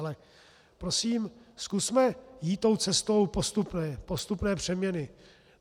Ale prosím, zkusme jít tou cestou postupné přeměny.